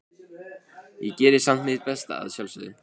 Ég geri samt mitt besta, að sjálfsögðu.